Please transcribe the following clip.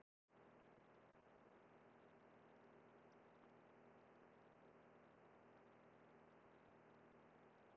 Hinir nýju hluthafar fá sömu réttarstöðu og þeir gömlu nema annað sé tekið fram.